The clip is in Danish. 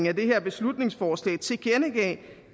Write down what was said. af det her beslutningsforslag tilkendegav